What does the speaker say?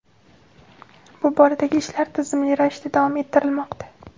Bu boradagi ishlar tizimli ravishda davom ettirilmoqda.